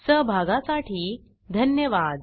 सहभागासाठी धन्यवाद